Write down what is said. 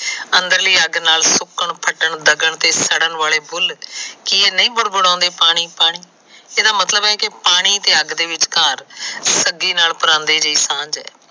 ਅੰਦਰਲੀ ਅੱਗ ਨਾਲ ਸੁੱਕਣ ਫਟਣ ਡਗਣ ਤੇ ਸਰਨ ਵਾਲੇ ਫੁਲ ਕਿ ਇਹ ਨਹੀਂ ਵਰਵਰੋੰਦੇ ਪਾਣੀ ਪਾਣੀ? ਇਹਦਾ ਮਤਲਬ ਹੈ ਕਿ ਪਾਣੀ ਤੇ ਅੱਗ ਵਿਚਕਾਰ ਛੱਬੀ ਨਲ ਪਰਾਂਦੇ ਦੀ ਸਾਂਜ ਹੈ।